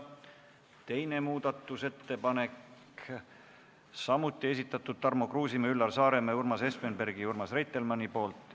Teine muudatusettepanek, samuti Tarmo Kruusimäe, Üllar Saaremäe, Urmas Espenbergi ja Urmas Reitelmanni esitatud.